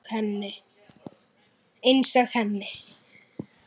Einsog henni.